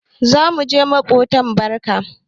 Za mu shiga maƙobta barka.